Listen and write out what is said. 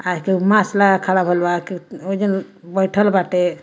आ केहू मास्क लगा के खड़ा भेल ओय जन बैठल बाटे।